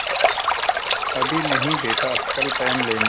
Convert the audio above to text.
अभी नहीं बेटा कल पहन लेना